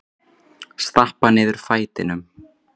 Stappa niður fætinum.